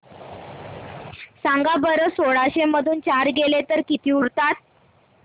सांगा बरं सोळाशे मधून चार गेले तर किती उरतात